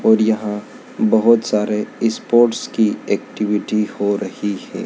और यहां बहोत सारे स्पोर्ट्स की एक्टिविटी हो रही है।